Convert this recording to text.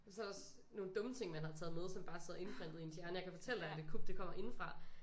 Og så også nogle dumme ting man har taget med som bare sidder indprentet i ens hjerne jeg kan fortælle dig at et kup det kommer indefra